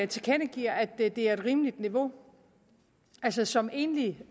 tilkendegiver at det er et rimeligt niveau altså som enlig